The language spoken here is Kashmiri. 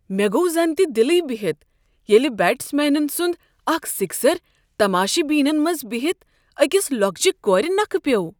مے٘ گوٚو زنتہ دِلٕے بہتھ ییٚلہِ بیٹس مینن سُنٛد اكھ سِكسر تماشہِ بینن منز بِہِتھ اكِس لوكٕچہِ كورِ نكھٕ پیوٚو۔